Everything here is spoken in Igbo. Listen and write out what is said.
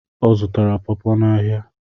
Ọ zụtara pọọpo n'ahịa.